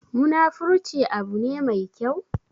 Munafurci abu ne me kyau?